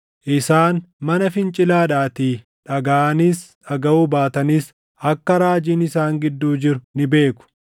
Isaan mana fincilaadhaatii; dhagaʼanis dhagaʼuu baatanis akka raajiin isaan gidduu jiru ni beeku.